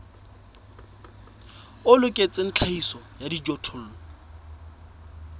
o loketseng tlhahiso ya dijothollo